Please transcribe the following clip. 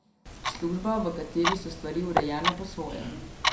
Služba, v kateri so stvari urejene po svoje.